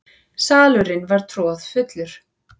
Salurinn var troðfullur.